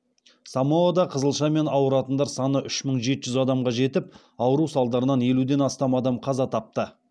самоада қызылшамен ауыратындар саны үш мың жеті жүз адамға жетіп ауру салдарынан елуден астам адам қаза тапты